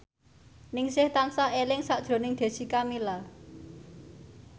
Ningsih tansah eling sakjroning Jessica Milla